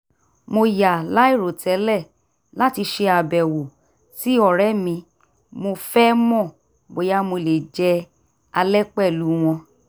mo yà láìròtẹ́lẹ̀ láti ṣe àbẹ̀wò sí ọ̀rẹ́ mi mo fẹ́ mọ bóyá mo lè jẹ alẹ́ pẹ̀lú wọn